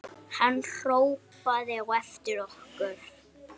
Hann hrópaði á eftir okkur.